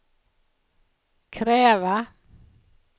kräva